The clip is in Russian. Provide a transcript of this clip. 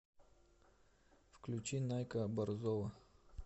включи найка борзова